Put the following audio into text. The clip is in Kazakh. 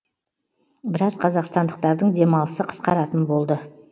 біраз қазақстандықтардың демалысы қысқаратын болды